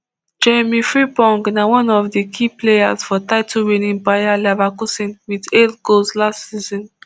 jeremy frimpong na one of di key players for titlewinning bayer leverkusen wit eight goals last season